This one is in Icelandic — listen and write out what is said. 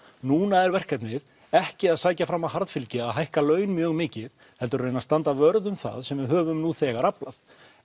núna er verkefnið ekki að sækja fram að harðfylgi og hækka laun mjög mikið heldur að reyna standa vörð um það sem við höfum nú þegar aflað